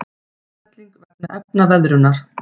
Útfelling vegna efnaveðrunar.